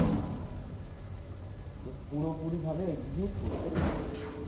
যে পুরোপুরি ভাবে করতে পারেনা